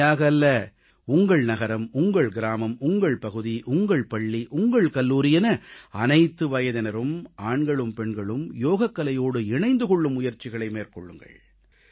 தனியாக அல்ல உங்கள் நகரம் உங்கள் கிராமம் உங்கள் பகுதி உங்கள் பள்ளி உங்கள் கல்லூரி என அனைத்து வயதினரும் ஆண்களும் பெண்களும் யோகக்கலையோடு இணைந்து கொள்ளும் முயற்சிகளை மேற்கொள்ளுங்கள்